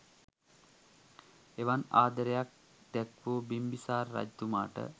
එවන් ආදරයක් දැක්වූ බිම්බිසාර රජතුමාට